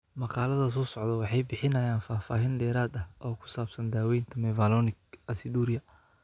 Maqaallada soo socdaa waxay bixinayaan faahfaahin dheeraad ah oo ku saabsan daaweynta mevalonic aciduria.